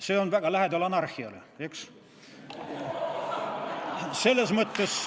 See on väga lähedal anarhiale, eks?